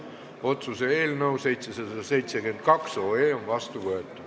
Otsuse eelnõu 772 on vastu võetud.